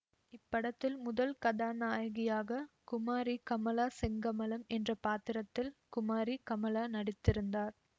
இப்படத்தில் முதல் கதாநாயகியாக குமாரி கமலா செங்கமலம் என்ற பாத்திரத்தில் குமாரி கமலா நடித்திருந்தார்